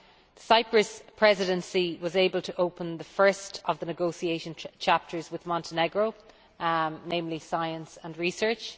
The Cyprus Presidency was able to open the first of the negotiation chapters with Montenegro, namely Science and Research.